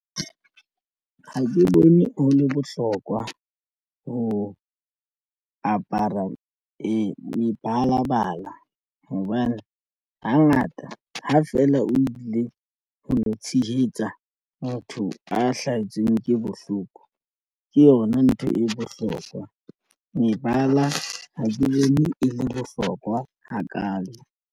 Ha ke bone ho le bohlokwa ho apara mebalabala hobane hangata ha fela o ile ho lo tshehetsa motho a hlahetsweng ke bohloko ke yona ntho e bohlokwa mebala ha ke bone e le bohlokwa hakalo.